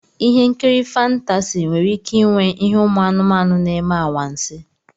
Ihe nkiri fántási nwere ike ịnwe ihe umu anumanu na-eme anwansi